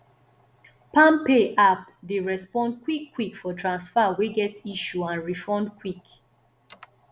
palmpay app dey respond quick quick for transfer wey get issue and refund quick